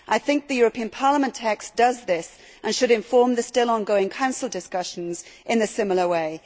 I think the European Parliament text does this and should inform the still on going Council discussions in a similar way.